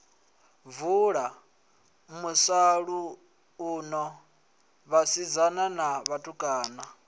vula musalauno vhasidzana na vhatukana